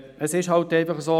Es ist einfach so: